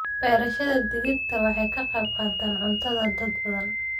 Beerashada digirta waxay ka qayb qaadataa cuntada dad badan.